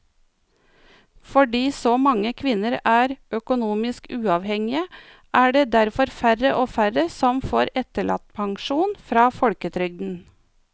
Fordi så mange kvinner er økonomisk uavhengige er det derfor færre og færre som får etterlattepensjon fra folketrygden.